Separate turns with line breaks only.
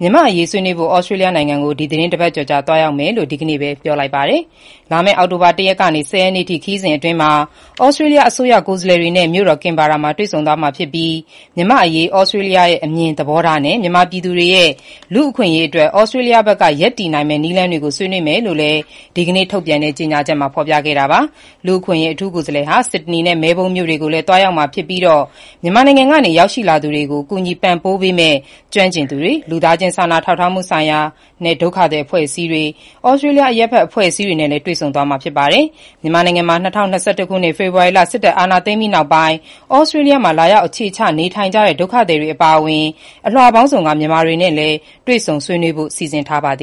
မြန်မာ့အရေး ဆွေးနွေးဖို့ သြစတြေးလျနိုင်ငံကို သီတင်း ၁ ပတ်ကျော်ကြာ သွားရောက်မယ်လို့ ဒီကနေ့ပဲ ပြောလိုက်ပါတယ်။ လာမယ့် အောက်တိုဘာ ၁ ရက်ကနေ ၁၀ ရက်နေ့အထိ ခရီးစဉ်အတွင်း သြစတြေးလျအစိုးရကိုယ်စားလှယ်တွေနဲ့ မြို့တော် ကင်ဘာရာမှာ တွေ့ဆုံသွားမှာဖြစ်ပြီး၊ မြန်မာ့အရေး သြစတြေးလျရဲ့ အမြင်သဘောထားနဲ့ မြန်မာပြည်သူတွေရဲ့ လူ့အခွင့်အရေးအတွက် သြစတြေးလျဘက်က ရပ်တည်နိုင်မယ့်နည်းလမ်းတွေကို ဆွေးနွေးမယ်လို့လည်း ဒီကနေ့ ထုတ်ပြန်တဲ့ ကြေညာချက်မှာ ဖော်ပြခဲ့တာပါ။ လူ့အခွင့်အရေး အထူးကိုယ်စားလှယ်ဟာ ဆစ်ဒနီနဲ့ မဲလ်ဘုန်းမြို့တွေကိုလည်း သွားရောက်မှာဖြစ်ပြီး မြန်မာနိုင်ငံကနေ ရောက်ရှိလာကြသူတွေကို ကူညီပံ့ပိုးပေးမယ့် ကျွမ်းကျင်သူတွေ၊ လူသားချင်း စာနာထောက်ထားမှုဆိုင်ရာနဲ့ ဒုက္ခသည်အဖွဲ့အစည်းတွေ၊ သြစတြေးလျ အရပ်ဘက်အဖွဲ့အစည်း တွေနဲ့လည်း တွေ့ဆုံမှာ ဖြစ်ပါတယ်။ မြန်မာနိုင်ငံမှာ ၂၀၂၁ ခုနှစ် ဖေဖော်ဝါရီလ စစ်တပ်အာဏာသိမ်းပြီးနောက် သြစတြေးလျမှာ လာရောက် အခြေချ နေထိုင်နေတဲ့ ဒုက္ခသည်တွေအပါအဝင်၊ အလွှာပေါင်းစုံက မြန်မာတွေနဲ့လည်း တွေ့ဆုံဆ
ွေးနွေးဖို့လည်း စီစဉ်ထားပါတ